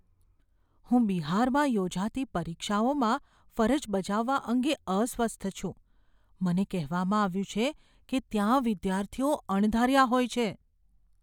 હું બિહારમાં યોજાતી પરીક્ષાઓમાં ફરજ બજાવવા અંગે અસ્વસ્થ છું. મને કહેવામાં આવ્યું છે કે ત્યાં વિદ્યાર્થીઓ અણધાર્યા હોય છે.